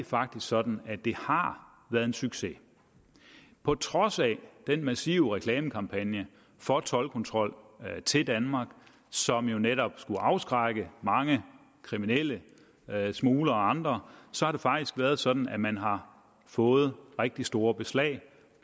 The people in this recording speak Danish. faktisk sådan at det har været en succes på trods af den massive reklamekampagne for toldkontrol til danmark som jo netop skulle afskrække mange kriminelle smuglere og andre har det faktisk været sådan at man har fået rigtig store beslag